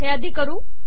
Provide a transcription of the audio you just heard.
हे आधी करू